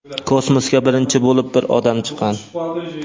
Kosmosga birinchi bo‘lib bir odam chiqqan.